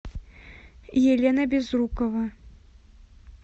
елена безрукова